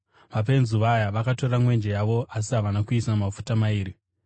Mapenzi vaya vakatora mwenje yavo asi havana kuisa mafuta mairi.